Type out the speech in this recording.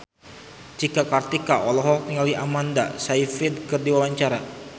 Cika Kartika olohok ningali Amanda Sayfried keur diwawancara